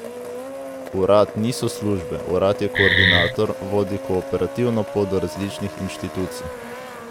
Urad niso službe, urad je koordinator, vodi kooperativno pot do različnih inštitucij.